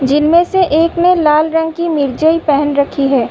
जिनमें से एक ने लाल रंग की मिर्जई पहन रखी है।